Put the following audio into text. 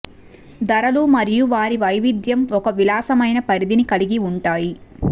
ధరలు మరియు వారి వైవిధ్యం ఒక విశాలమైన పరిధిని కలిగి ఉంటాయి